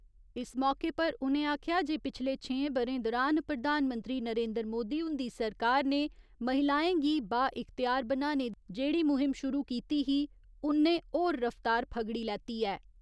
इस मौके पर उ'नें आखेआ जे पिछले छेहें ब'रें दुरान प्रधानमंत्री नरेन्द्र मोदी हुंदी सरकार ने महिलाएं गी बा इख्तियार बनाने दी जेहड़ी मुहिम शुरु कीती ही उन्नै होर रफ्तार फगड़ी लैती ऐ।